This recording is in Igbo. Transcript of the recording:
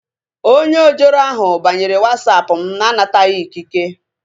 Onye ojoro ahu banyere Wasapụ mụ na-anataghị ikike